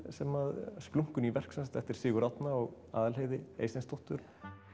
sem að splunkuný verk eftir Sigurð Árna og Aðalheiði Eysteinsdóttur